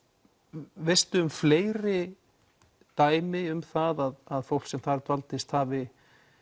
veistu um fleiri dæmi um það að fólk sem þar dvaldist hafi